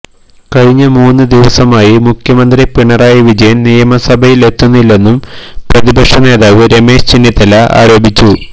കഴിഞ്ഞ മൂന്ന് ദിവസമായി മുഖ്യമന്ത്രി പിണറായി വിജയന് നിയമസഭയില് എത്തുന്നില്ലെന്നും പ്രതിപക്ഷ നേതാവ് രമേശ് ചെന്നിത്തല ആരോപിച്ചു